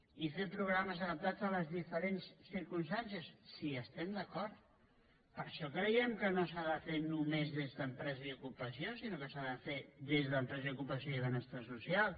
i fer programes adaptats a les diferents circumstàncies si hi estem d’acord per això creiem que no s’ha de fer només des d’empresa i ocupació sinó que s’ha de fer des d’empresa i ocupació i benestar social